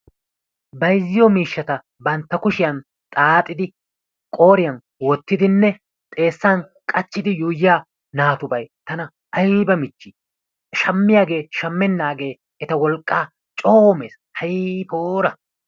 Bayziyoo miishshata bantta kushiyan xaaxidi qooriyan woottidinne xeessan qaachchiidi yuuyyiya naatubay tana ayba michchii! shammiyaagee shaammenagee eta wolqqaa coo mees. Hay poora!